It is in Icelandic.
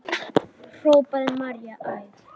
hrópar María æf.